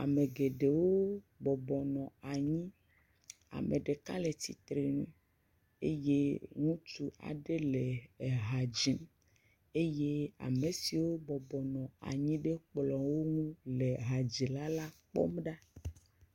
Ame geɖewo bɔbɔ nɔ anyi. Ame ɖeka le tsitre nu eye ŋutsu aɖe le eha dzim eye ame siwo bɔbɔ nɔ anyi ɖe kplɔ ŋu le hadzila la kpɔm do ɖa.